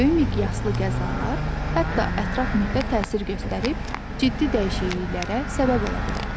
Böyük miqyaslı qəzalar hətta ətraf mühitə təsir göstərib ciddi dəyişikliklərə səbəb ola bilər.